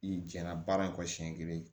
I jɛna baara in kɔ siɲɛ kelen